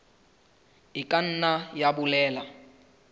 e ka nna ya bolela